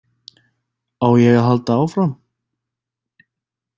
Á ég að halda áfram?